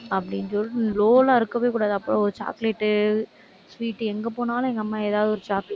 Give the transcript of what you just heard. அப்படின்னு சொல்லிட்டு low ல்லாம் இருக்கவே கூடாது. அப்புறம் ஒரு chocolate, sweet எங்க போனாலும், எங்க அம்மா ஏதாவது ஒரு chocolate